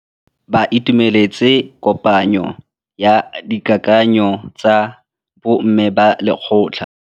Ba itumeletse kôpanyo ya dikakanyô tsa bo mme ba lekgotla.